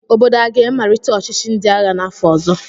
Obodo a ga-amalite ọchịchị ndị agha n'afọ ọzọ?